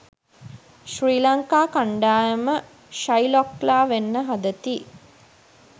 ශ්‍රී ලංකා කණ්ඩායම ශයිලොක්ලා වෙන්න හදති